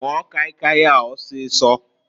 Nwụọ kai kai a ọsịsọǃ